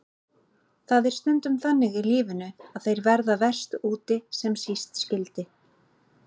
Það er stundum þannig í lífinu að þeir verða verst úti sem síst skyldi.